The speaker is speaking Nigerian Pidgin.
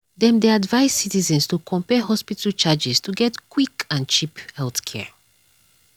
dem dey advise citizens to compare hospital charges to get quick and cheap healthcare.